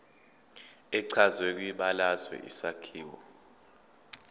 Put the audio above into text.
echazwe kwibalazwe isakhiwo